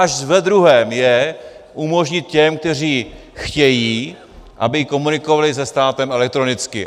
Až ve druhém je umožnit těm, kteří chtějí, aby komunikovali se státem elektronicky.